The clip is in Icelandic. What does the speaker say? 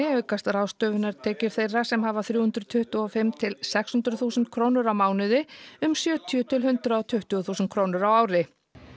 aukast ráðstöfunartekjur þeirra sem hafa þrjú hundruð tuttugu og fimm til sex hundruð þúsund krónur á mánuði um sjötíu til hundrað og tuttugu þúsund krónur á ári